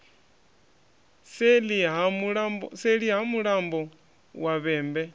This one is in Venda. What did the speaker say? seḽi ha mulambo wa vhembe